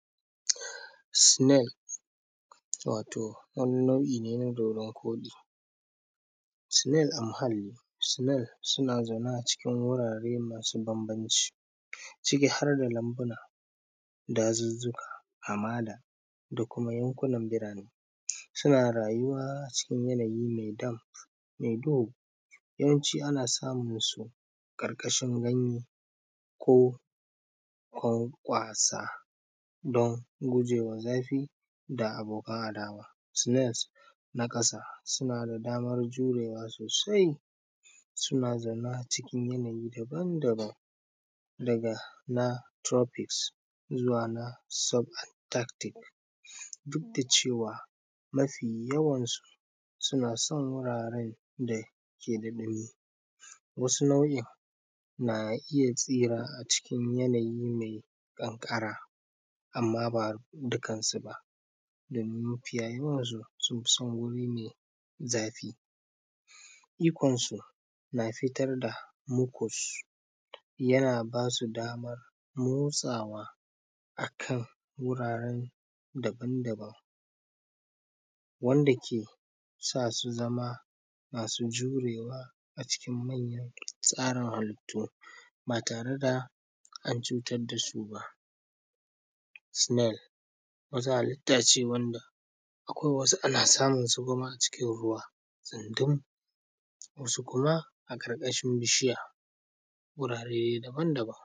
snails wato wani nau`o`i ne na dodon koɗi, snail a muhalli, snails suna zaune a cikin wurare masu bambanci ciki har da lambuna dazuzzuka, hamada, da kuma yankunan birane, suma rayuwa cikin yanayi mai da dam, mai duhu, yawanci ana samun su ƙarƙashin ganye ko ƙwa ƙwasa dan gujewa zafi da aboka adawa, snails na ƙasa suna da damar jurewa sosai suna zaune a cikin yanayi daban daban ɗaga na tropics zuwa na sub tactic duk da cewa mafi yawan su suna son wurare da ke da nauyi wasu nau`o`in na iya tsira a cikin yanayi mai ƙanƙara amma ba dukan sub a mai zafi ikon su na fitar da mucus yana basu daman nutsuwa akan wuraren daban daban wanda ke sasu zama masu jurewa a cikin manyan tsarin halittu batare da an cutar da su ba, duk da cewa mafi yawan su suna son wurare da ke da nauyi wasu nau`o`in na iya tsira a cikin yanayi mai ƙanƙara amma ba dukan su a mai zafi ikon su na fitar da mucus yana basu daman nutsuwa akan wuraren daban daban wanda ke sasu zama masu jurewa a cikin manyan tsarin halittu batare da an cutar da su ba,